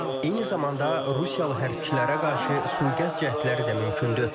Eyni zamanda rusiyalı hərbçilərə qarşı sui-qəsd cəhdləri də mümkündür.